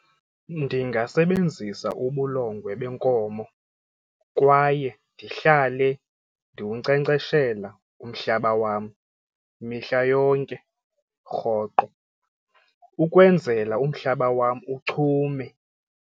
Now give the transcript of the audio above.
Ndingasebenzisa ubulongwe benkomo kwaye ndihlale ndiwunkcenkceshela umhlaba wam mihla yonke rhoqo ukwenzela umhlaba wam uchume.